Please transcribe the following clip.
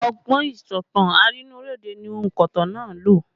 Ọgbọ́n ìsọ̀tàn arínúróde ni onkotan náà lò